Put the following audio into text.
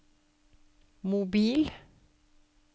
mobil